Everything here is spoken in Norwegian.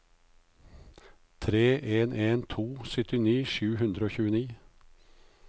tre en en to syttini sju hundre og tjueni